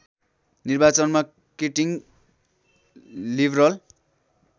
निर्वाचनमा Keating liberal